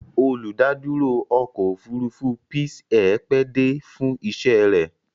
Olùdádúró ọkọ̀-òfurufú Peace Air pẹ́ dé fún iṣẹ́ rẹ̀.